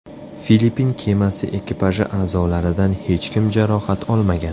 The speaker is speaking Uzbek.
Filippin kemasi ekipaji a’zolaridan hech kim jarohat olmagan.